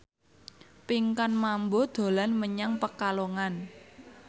Pinkan Mambo dolan menyang Pekalongan